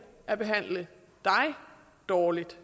at behandle dig dårligt